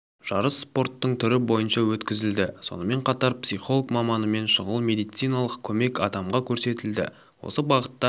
жарыс спорттың түрі бойынша өткізілді сонымен қатар психолог маманымен шұғыл медициналық көмек адамға көрсетілді осы бағытта